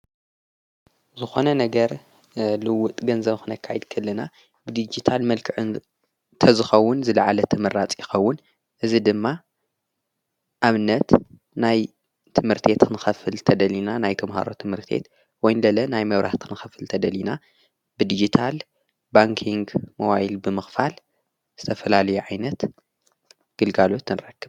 ዝኾነ ነገር ልውጥ ገንዘምኽነ ካይድ ክልና ብዲግታል መልክዕን ተዝኸውን ዝለዓለ ተመራጽ ይኸውን እዝ ድማ ኣምነት ናይ ትምህርት ኽንኸፍል ተደሊና ናይ ተምሃሮ ትምህርት ወይንደለ ናይ መብራት ኽንኽፍል ተደሊና ብዲግታል ባንክንግ መዋይል ብምኽፋል ዝተፈላልየኣይነት ግልጋሉት ንረካ::